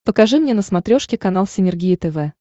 покажи мне на смотрешке канал синергия тв